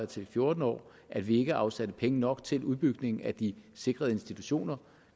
til fjorten år at vi ikke afsatte penge nok til udbygningen af de sikrede institutioner